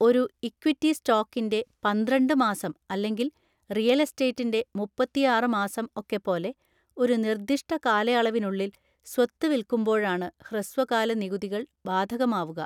ഒരു ഇക്വിറ്റി സ്റ്റോക്കിൻ്റെ പന്ത്രണ്ട് മാസം അല്ലെങ്കിൽ റിയൽ എസ്റ്റേറ്റിൻ്റെ മുപ്പത്തിയാറ് മാസം ഒക്കെ പോലെ ഒരു നിർദിഷ്ട കാലയളവിനുള്ളിൽ സ്വത്ത് വിൽക്കുമ്പോഴാണ് ഹ്രസ്വകാല നികുതികൾ ബാധകമാവുക.